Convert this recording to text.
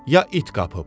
Ya it qapıb.